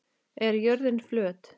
Er jörðin flöt?